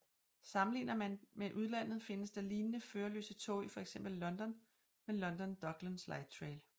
Sammenligner man med udlandet findes der lignende førerløse tog i fx London med London Docklands Lightrail